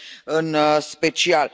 în special.